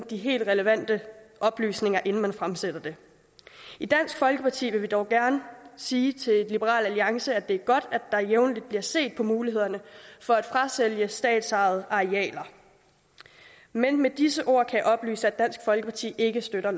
de helt relevante oplysninger inden man fremsatte det i dansk folkeparti vil vi dog gerne sige til liberal alliance at det er godt at der jævnligt bliver set på mulighederne for at frasælge statsejede arealer men med disse ord kan jeg oplyse at dansk folkeparti ikke støtter